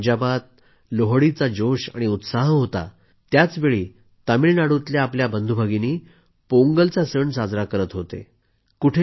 ज्यावेळी पंजाबात लोहडीचा जोश आणि उत्साह होता त्याचवेळी तामिळनाडूतल्या आपल्या बंधूभगिनी पोंगलचा सण साजरा करत होते